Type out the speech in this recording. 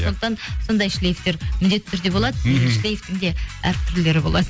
сондықтан сондай шлифтер міндетті түрде болады мхм шлифтің де әртүрлілері болады